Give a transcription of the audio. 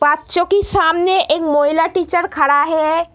बच्चों के सामने एक महिला टीचर खड़ा है।